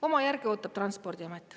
Oma järge ootab Transpordiamet.